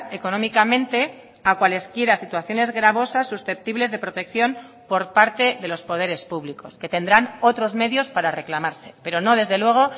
económicamente a cualesquiera situaciones gravosas susceptibles de protección por parte de los poderes públicos que tendrán otros medios para reclamarse pero no desde luego